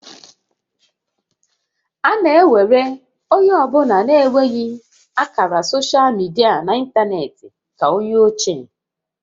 A na ewere onye ọ bụla na-enweghị ákàrà soshal midia na ịntanetị dị ka ónyé ochie